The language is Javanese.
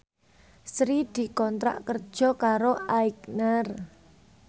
Sri dikontrak kerja karo Aigner